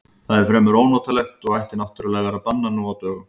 Það er fremur ónotalegt og ætti náttúrlega að vera bannað nú á dögum.